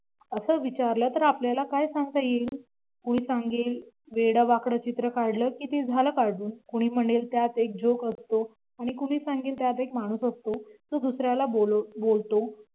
असं विचारलं तर आपल्याला काय सांगता येईल? कोणी सांगेल वेड वाकड चित्र काढलं की ते झालं काढून कोणी म्हणेल त्यात एक जोक असतो आणि कोणी सांगेल त्यात एक माणूस असतो तो दुसऱ्याला बोलतो